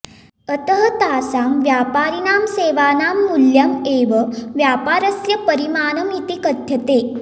अतः तासां व्यापारिणां सेवानां मूल्यम् एव व्यापारस्य परिमाणम् इति कथ्यते